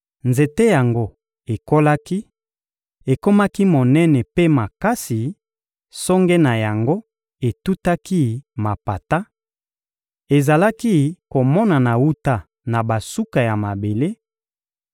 Nzete yango ekolaki, ekomaki monene mpe makasi; songe na yango etutaki mapata, ezalaki komonana wuta na basuka ya mabele;